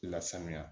Lasanuya